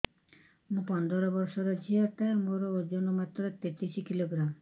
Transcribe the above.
ମୁ ପନ୍ଦର ବର୍ଷ ର ଝିଅ ଟା ମୋର ଓଜନ ମାତ୍ର ତେତିଶ କିଲୋଗ୍ରାମ